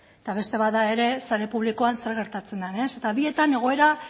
eta beste bat da ere sare publikoan zer geratzen den eta bietan egoera